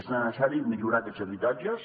és necessari millorar aquests habitatges